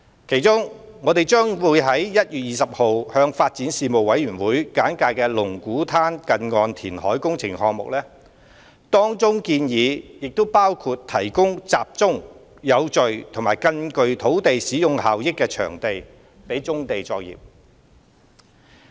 其中，我們將於1月20日向發展事務委員會簡介龍鼓灘近岸填海工程項目，當中建議亦包括提供集中、有序及更具土地使用效益的場地予棕地作業。